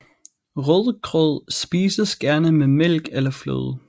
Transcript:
Rødgrød spises gerne med mælk eller fløde